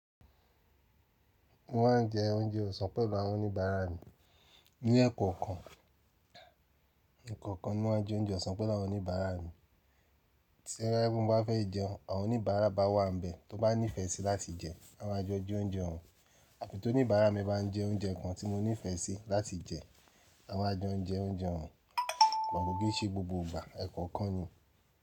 Wọ́n má ń jẹ oúnjẹ ọ̀sán pẹ̀lú àwọn oníbàárà mi. Ní ẹ̀kọ́ kan, n kọ̀ọ̀kan wọ́n má ń jẹ oúnjẹ ọ̀sán pẹ̀lú àwọn oníbàárà mi. Tí oo bá je pe mo ba fẹ́ jẹun, àwọn oníbàárà bá wà níbẹ̀ tó bá nífẹ́ẹ́ sí láti jẹ, a máa jẹ oúnjẹ oún. Àfi tó oníbàárà mi bá ń jẹ oúnjẹ kan tí mo nífẹ́ẹ́ sí láti jẹ, a má a jẹ oúnjẹ òun. Gbogbo ké ṣe gbogbo ìgbà ẹ̀kọ́ kan yẹn.